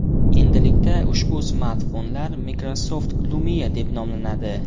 Endilikda ushbu smartfonlar Microsoft Lumia deb nomlanadi.